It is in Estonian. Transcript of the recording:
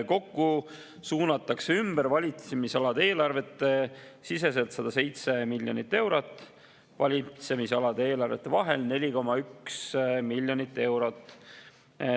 Kokku suunatakse ümber valitsemisalade eelarvete siseselt 107 miljonit eurot, valitsemisalade eelarvete vahel 4,1 miljonit eurot.